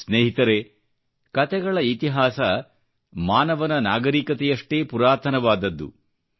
ಸ್ನೇಹಿತರೆ ಕತೆಗಳ ಇತಿಹಾಸ ಮಾನವನ ನಾಗರಿಕತೆಯಷ್ಟೇ ಪುರಾತನವಾದದ್ದು